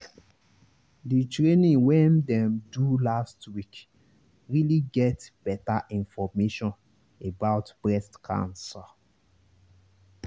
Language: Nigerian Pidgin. the training wen dem do last week really get better information about breast cancer.